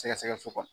Sɛgɛsɛgɛ so kɔnɔ